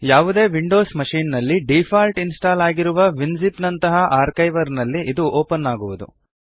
ಯಾವುದೇ Windows machine ನಲ್ಲಿ default install ಆಗಿರುವ ವಿನ್ ಝಿಪ್ ನಂತಹ ಆರ್ಕೈವರ್ ನಲ್ಲಿ ಅದು ಓಪನ್ ಆಗುವದು